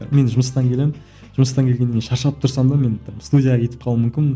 мен жұмыстан келемін жұмыстан келгеннен кейін шаршап тұрсам да мен там студияға кетіп қалуым мүмкін